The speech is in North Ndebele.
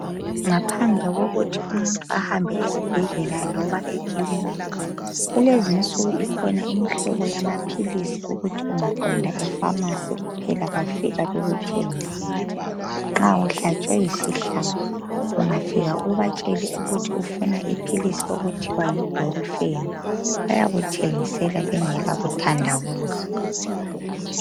Ngaphandle kokuthi umuntu ahambe esibhedlela loba ekilinika, kulezi insuku kukhona imhlobo yama philisi ukuthi ungaqonda efamasi phela bafika bakuthengisele nxa uhlatshwe yisihlabo. Ungafika ubatshele ukuthi ufuna iphilisi okuthiwa yi bhulufeni bayakuthengisela bengela kuthanda buza.